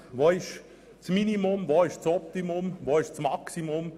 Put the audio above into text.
Wo ist das Minimum, wo ist das Maximum, und wo liegt das Optimum?